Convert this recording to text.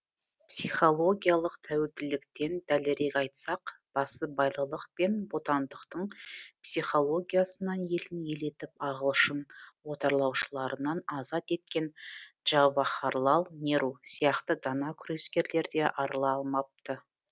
психологиялық тәуелділіктен дәлірек айтсақ басыбайлылық пен бодандықтың психологиясынан елін ел етіп ағылшын отарлаушыларынан азат еткен джавахарлал неру сияқты дана күрескерлер де арыла алмапты